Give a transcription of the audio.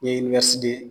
Ɲɛɲini